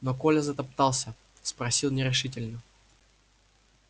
но коля затоптался спросил нерешительно